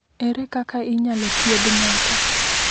Ere kaka inyalo thiedh ng’ato?